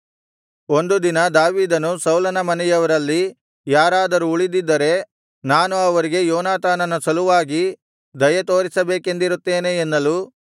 ಒಂದು ದಿನ ದಾವೀದನು ಸೌಲನ ಮನೆಯವರಲ್ಲಿ ಯಾರಾದರೂ ಉಳಿದಿದ್ದರೆ ನಾನು ಅವರಿಗೆ ಯೋನಾತಾನನ ಸಲುವಾಗಿ ದಯೆತೋರಿಸಬೇಕೆಂದಿರುತ್ತೇನೆ ಎನ್ನಲು